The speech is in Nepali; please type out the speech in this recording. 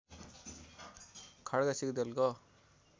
खड्का सिग्देलको